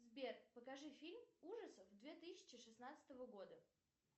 сбер покажи фильм ужасов две тысячи шестнадцатого года